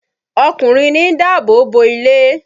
Ọkùnrin ní ń dáàbò bo ilé.